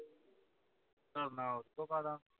ਕਰਨਾ ਉਸ ਤੇ ਪਾ ਦਵਾ